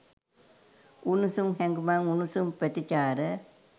උණුසුම් හැඟුමන් උණුසුම් ප්‍රතිචාර.